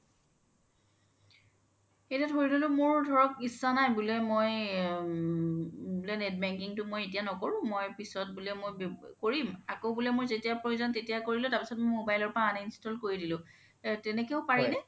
এতিয়া ধৰি ল্'লো মোৰ ধৰক ইচ্ছা বুলে মই আ বুলে net banking তো মই এতিয়া নকৰো মই পিছ্ত বুলে মই কৰিম আকৌ বুলে যেতিয়া প্ৰয়োজন তেতিয়া কৰিলো তাৰ পিছিত mobile ৰ পৰা uninstall কৰি দিলো তেনেকেও পাৰি নে ?